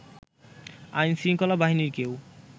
আইনশৃঙ্খলা বাহিনীর কেউ